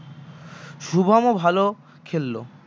শুভমও ভাল খেলল